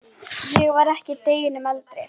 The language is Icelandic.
Ég var ekki deginum eldri.